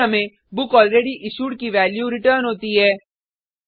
फिर हमें बुकलरेडयिश्यूड की वैल्यू रिटर्न होती है